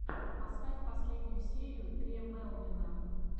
поставь последнюю серию тре мелвина